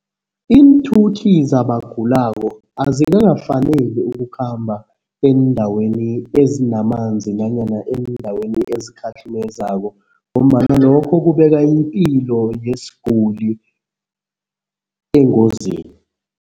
Iinthuthi zabagulako azikakafanele ukukhamba eendaweni ezinamanzi nanyana eendaweni ezikhahlumezako ngombana lokho kubeka ipilo yesiguli engozini.